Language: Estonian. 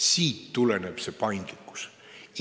Siit tuleneb see paindlikkus.